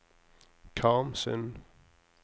Karmsund